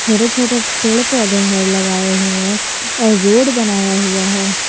छोटे छोटे पेड़ पौधे हैं लगाए हुए और रोड बनाया हुआ है।